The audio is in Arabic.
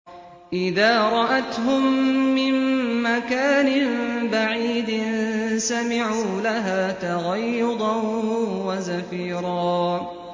إِذَا رَأَتْهُم مِّن مَّكَانٍ بَعِيدٍ سَمِعُوا لَهَا تَغَيُّظًا وَزَفِيرًا